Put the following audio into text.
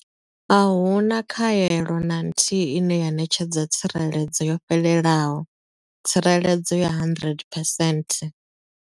Ahuna khaelo na nthihi ine ya ṋetshedza tsireledzo yo fhelelaho tsireledzo ya 100 percent.